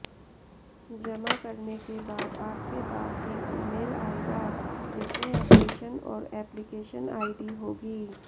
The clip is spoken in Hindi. जमा करने के बाद आपके पास एक ईमेल आएगा जिसमें अपडेशन और एप्लिकेशन आईडी होगी